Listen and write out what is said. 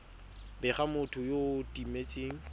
bega motho yo o timetseng